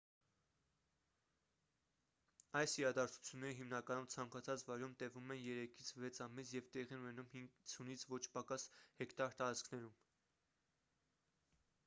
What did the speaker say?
այս իրադարձությունները հիմնականում ցանկացած վայրում տևում են երեքից վեց ամիս և տեղի են ունենում 50-ից ոչ պակաս հեկտար տարածքներում